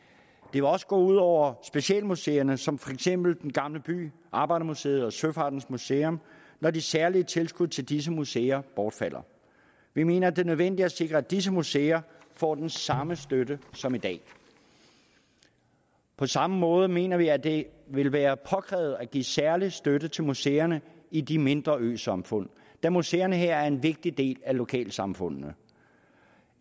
det vil også gå ud over specialmuseerne som for eksempel den gamle by arbejdermuseet og søfartsmuseet når de særlige tilskud til disse museer bortfalder vi mener at det er nødvendigt at sikre at disse museer får den samme støtte som i dag på samme måde mener vi at det vil være påkrævet at give særlig støtte til museerne i de mindre øsamfund da museerne her er en vigtig del af lokalsamfundene